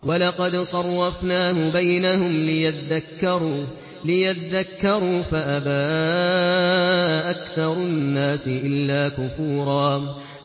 وَلَقَدْ صَرَّفْنَاهُ بَيْنَهُمْ لِيَذَّكَّرُوا فَأَبَىٰ أَكْثَرُ النَّاسِ إِلَّا كُفُورًا